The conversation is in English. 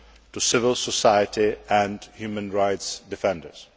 for civil society and human rights defenders.